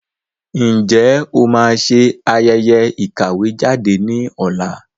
Ǹjẹ́ o máa ṣe ayẹyẹ ìkàwé jáde ní ọ̀la?